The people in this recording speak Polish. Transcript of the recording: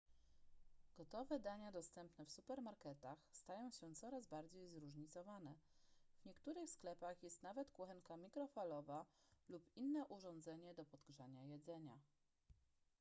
gotowe dania dostępne w supermarketach stają się coraz bardziej zróżnicowane w niektórych sklepach jest nawet kuchenka mikrofalowa lub inne urządzenie do podgrzania jedzenia